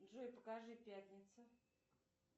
джой покажи пятница